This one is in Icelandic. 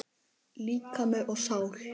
Líkami og sál